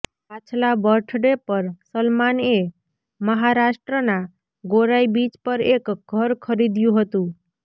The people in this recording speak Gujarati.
પાછલા બર્થડે પર સલમાનએ મહારાષ્ટ્રના ગોરાઈ બીચ પર એક ઘર ખરીદયું હતું